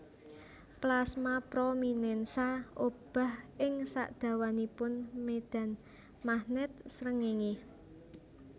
Plasma prominènsa obah ing sadawanipun médhan magnèt srengéngé